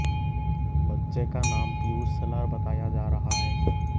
बच्चे का नाम पियुष शेलार बताया जा रहा है